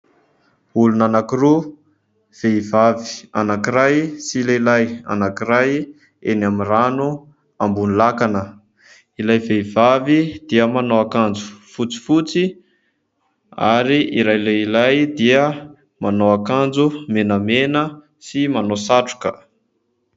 Olona anankiroa, vehivavy anankiray sy lehilahy anankiray eny amin'ny rano ambony lakana. Ilay vehivavy dia manao akanjo fotsifotsy ary ilay lehilahy dia manao akanjo menamena sy manao satroka.